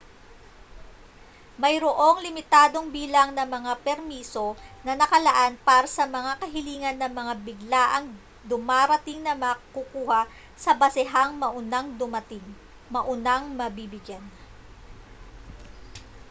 mayroong limitadong bilang ng mga permiso na nakalaan para sa mga kahilingan ng mga biglaang dumarating na makukuha sa basehang maunang dumating maunang mabibigyan